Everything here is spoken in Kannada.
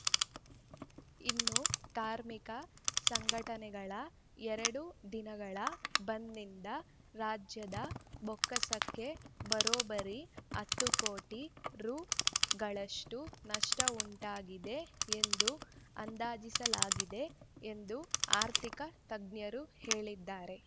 ಇನ್ನು ಕಾರ್ಮಿಕ ಸಂಘಟನೆಗಳ ಎರಡು ದಿನಗಳ ಬಂದ್‌ನಿಂದ ರಾಜ್ಯದ ಬೊಕ್ಕಸಕ್ಕೆ ಬರೋಬ್ಬರಿ ಹತ್ತು ಕೋಟಿ ರುಗಳಷ್ಟುನಷ್ಟವುಂಟಾಗಿದೆ ಎಂದು ಅಂದಾಜಿಸಲಾಗಿದೆ ಎಂದು ಆರ್ಥಿಕ ತಜ್ಞರು ಹೇಳಿದ್ದಾರೆ